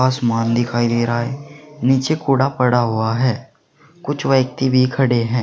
आसमान दिखाई दे रहा है नीचे कूड़ा पड़ा हुआ है कुछ व्यक्ति भी खड़े हैं।